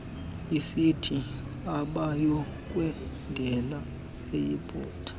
isithi abayokwendela eyiputa